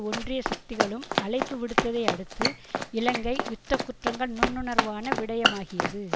ஒன்றிய சக்திகளும் அழைப்பு விடுத்ததை அடுத்து இலங்கை யுத்த குற்றங்கள் நுண்னுணர்வான விடயமாகியது